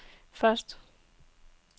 første